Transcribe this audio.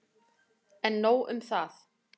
En nóg um það.